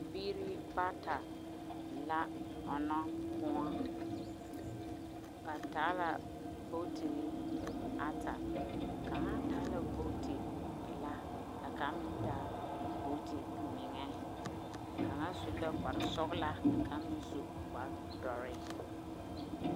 Biiri bata la ɔɔnɔ kõɔ. Ba taa la bootiri ata, kaŋa taa la booti pelaa, kaŋ meŋ taa booti meŋɛ. Kaŋa su la kparsɔglaa ka kaŋ meŋ su kpardɔree